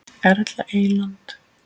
Erla Eyland.